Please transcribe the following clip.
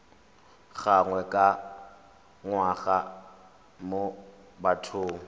gangwe ka ngwaga mo bathong